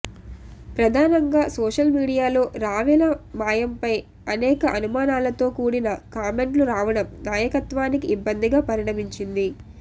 ప్రధానంగా సోషల్ మీడియాలో రావెల మాయంపై అనేక అనుమానాలతో కూడిన కామెంట్లు రావడం నాయకత్వానికి ఇబ్బందిగా పరిణమించింది